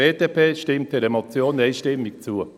Die BDP stimmt dieser Motion einstimmig zu.